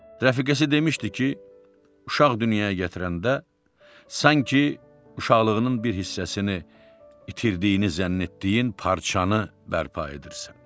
Rəfiqəsi demişdi ki, uşaq dünyaya gətirəndə sanki uşaqlığının bir hissəsini itirdiyini zənn etdiyin parçanı bərpa edirsən.